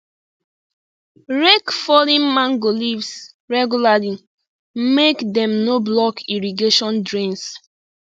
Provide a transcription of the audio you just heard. rake fallen mango leaves regularly make dem no block irrigation drains